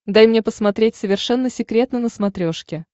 дай мне посмотреть совершенно секретно на смотрешке